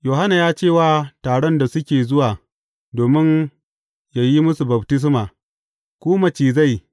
Yohanna ya ce wa taron da suke zuwa domin yă yi musu baftisma, Ku macizai!